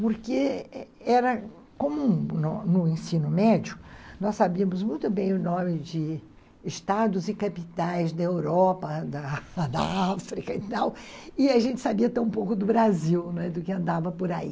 Porque era comum no no ensino médio, nós sabíamos muito bem o nome de estados e capitais da Europa, da África e tal, e a gente sabia até um pouco do Brasil, não é?do que andava por aí.